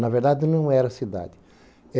Na verdade, não era cidade.